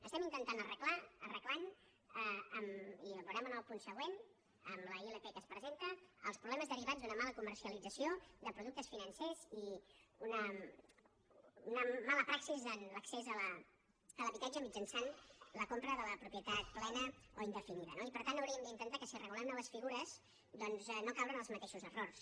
estem intentant arreglar arreglant i ho veurem en el punt següent en la ilp que es presenta els problemes derivats d’una mala comercialització de productes financers i una mala praxi en l’accés a l’habitatge mitjançant la compra de la propietat plena o indefinida no i per tant hauríem d’intentar si regulem noves figures doncs no caure en els mateixos errors